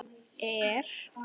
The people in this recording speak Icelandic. Er kannski ekkert að óttast?